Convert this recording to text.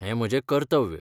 हें म्हजें कर्तव्य.